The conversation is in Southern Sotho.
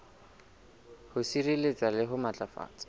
ho sireletsa le ho matlafatsa